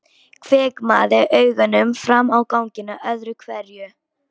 Hvimaði augunum fram á ganginn öðru hverju.